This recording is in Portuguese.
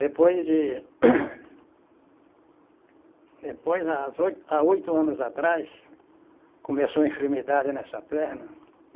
Depois de Depois, as oi há oito anos atrás, começou a enfermidade nessa perna.